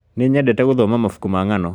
Nĩnyendete gũthoma mabuku ma ng'ano